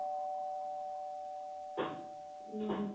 ଉଁ ହୁଁ